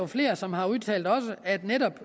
flere som har udtalt at netop